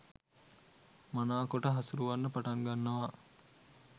මනාකොට හසුරුවන්න පටන් ගන්නවා.